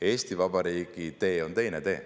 Eesti Vabariigi tee on teine.